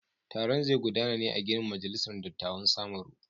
Taron zai gudana ne a ginin majalisar dattawan samaru.